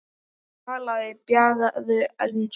Talaði bjagaða ensku